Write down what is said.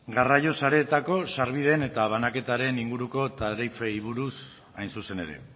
garraio sareetako sarbideen eta banaketaren inguruko tarifei buruz hain zuzen ere